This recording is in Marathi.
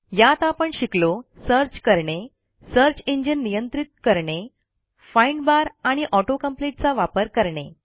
यात आपण शिकलो सर्च करणे सर्च इंजिन नियंत्रित करणे फाइंड barआणि auto कॉम्पीट चा वापर करणे